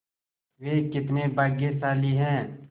वे कितने भाग्यशाली हैं